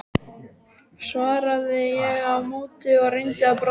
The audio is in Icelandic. svaraði ég á móti og reyndi að brosa.